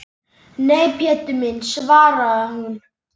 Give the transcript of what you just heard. Nei, Pétur minn svaraði hún.